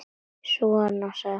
Svona, sagði hún.